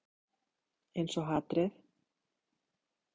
Einsog hatrið.